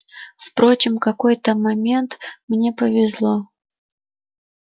впрочем в какой-то момент мне повезло